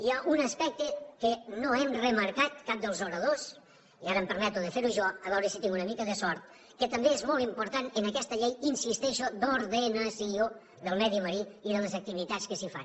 hi ha un aspecte que no hem remarcat cap dels oradors i ara em permeto de fer ho jo a veure si tinc una mica de sort que també és molt important en aquesta llei hi insisteixo d’ordenació del medi marí i de les activitats que s’hi fan